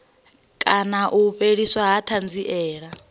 kana u fheliswa ha thanziela